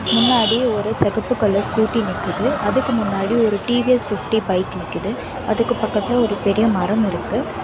முன்னாடி ஒரு செகப்பு கலர் ஸ்கூட்டி நிக்குது அதுக்கு முன்னாடி ஒரு டி_வி_எஸ் பிப்டி பைக் விக்குது அதுக்கு பக்கத்துல ஒரு பெரிய மரம் இருக்கு.